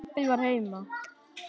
Pabbi var heima.